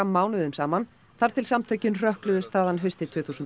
mánuðum saman þar til samtökin hrökkluðust þaðan haustið tvö þúsund